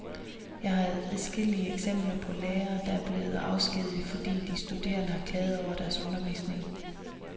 Jeg har adskillige eksempler på lærere, der er blevet afskediget, fordi de studerende har klaget over deres undervisning.